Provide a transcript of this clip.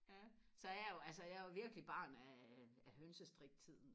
ja så er jeg jo altså jeg er jo virkelig barn af af hønsestrik tiden